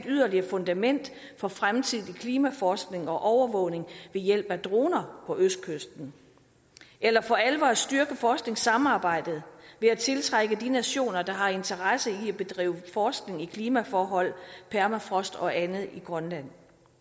yderligere fundament for fremtidig klimaforskning og overvågning ved hjælp af droner på østkysten eller for alvor styrke forskningssamarbejdet ved at tiltrække de nationer der har interesse i at bedrive forskning i klimaforhold permafrost og andet i grønland